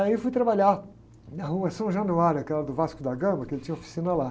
Aí eu fui trabalhar na rua São Januário, aquela do Vasco da Gama, que ele tinha oficina lá.